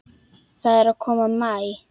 Það er að koma maí.